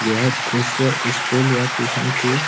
यह दृश्‍य स्‍कूल या ट्यूशन की --